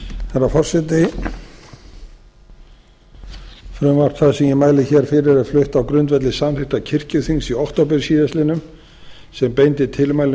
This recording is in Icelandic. herra forseti frumvarp það sem ég mæli hér fyrir er flutt á grundvelli samþykktar kirkjuþings í október síðastliðinn sem beindi tilmælum